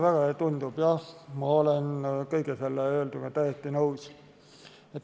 Jah, ma olen kõige sellega täiesti nõus.